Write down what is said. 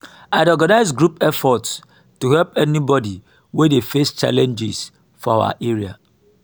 i dey organize group efforts to help anybody wey dey face challenges for our area.